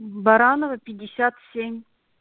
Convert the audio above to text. баранова пятьдесят семь